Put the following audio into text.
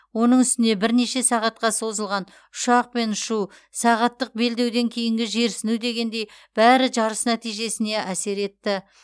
оның үстіне бірнеше сағатқа созылған ұшақпен ұшу сағаттық белдеуден кейінгі жерсіну дегендей бәрі жарыс нәтижесіне әсер етті